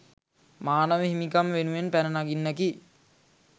මානව හිමිකම් වෙනුවෙන් පැන නගින්නකි